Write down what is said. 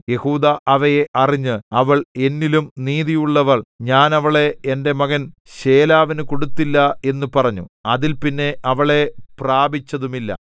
യെഹൂദാ അവയെ അറിഞ്ഞ് അവൾ എന്നിലും നീതിയുള്ളവൾ ഞാൻ അവളെ എന്റെ മകൻ ശേലാവിനു കൊടുത്തില്ല എന്നു പറഞ്ഞു അതിൽപിന്നെ അവളെ പ്രാപിച്ചതുമില്ല